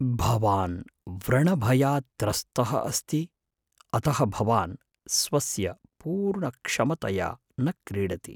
भवान् व्रणभयात् त्रस्तः अस्ति, अतः भवान् स्वस्य पूर्णक्षमतया न क्रीडति ।